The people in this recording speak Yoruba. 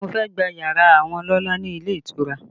Mo fẹ́ gba yàrá àwọn ọlọ́lá ni ilé ìtura